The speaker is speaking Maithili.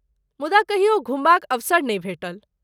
मुदा कहियो घुमबाक अवसर नहि भेटल।